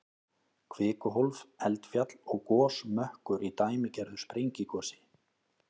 Kvikuhólf, eldfjall og gosmökkur í dæmigerðu sprengigosi.